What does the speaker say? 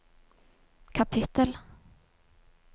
kapittel